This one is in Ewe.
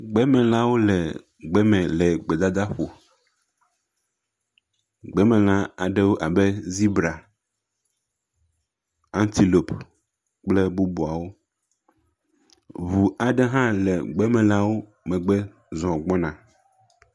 Gbemelãwo le gbe le gbedadaƒo. gbemelãwo abe z]bra. Antelope kple bubuawo. Ŋu aɖewo hã le gbemelãwo megbe zɔ gbɔna.